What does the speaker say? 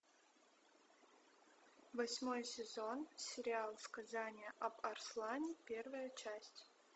восьмой сезон сериал сказание об арслане первая часть